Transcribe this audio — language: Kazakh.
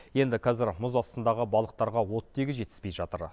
енді қазір мұз астындағы балықтарға оттегі жетіспей жатыр